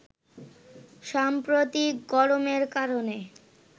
সাম্প্রতিক গরমের কারণে